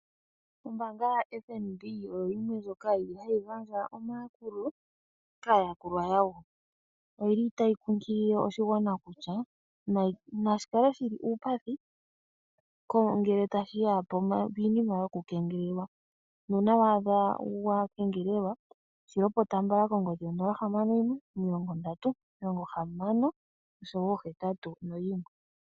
Ombaanga yFnb oyo yimwe ndjoka hayi gandja omayakulo kaayakulwa yawo oyili tayi kunkilile oshigwana kutya nashi kale shi li uupathi ngele tashiya piinima yokukengelelwa nuuna waadha wa kengelelwa shi lopota mbala kongodhi yo 061306081.